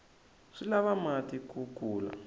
swi lava mati ku kula